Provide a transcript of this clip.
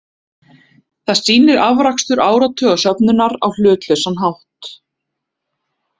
Það sýnir afrakstur áratuga söfnunar á hlutlausan hátt.